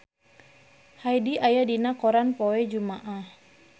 Hyde aya dina koran poe Jumaah